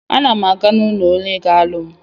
A na m aga n'ụlọ onye ga-alụ m.